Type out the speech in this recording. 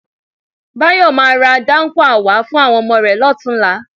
Báyọ̀ máa ra dáńkúà wá fún àwọn ọmọ rẹ lọ́tùnúnlá.